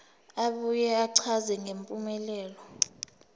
abuye achaze ngempumelelo